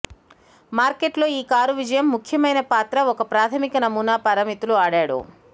మార్కెట్లో ఈ కారు విజయం ముఖ్యమైన పాత్ర ఒక ప్రాథమిక నమూనా పారామితులు ఆడాడు